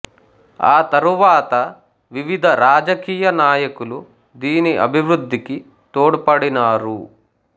ఆ తరువాత వివిధ రాజకీయ నాయకులు దీని అభివృద్ధికి తొడ్పడినారు